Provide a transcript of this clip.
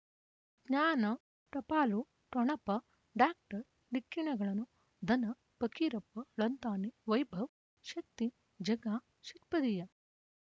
ಜ್ಞಾನ ಟಪಾಲು ಠೊಣಪ ಡಾಕ್ಟರ್ ಢಿಕ್ಕಿ ಣಗಳನು ಧನ ಫಕೀರಪ್ಪ ಳಂತಾನೆ ವೈಭವ್ ಶಕ್ತಿ ಝಗಾ ಷಟ್ಪದಿಯ